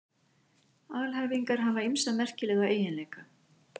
Alhæfingar hafa ýmsa merkilega eiginleika.